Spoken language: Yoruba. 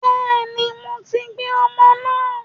Bẹ́ẹ̀ni, mo ti gbé ọmọ náà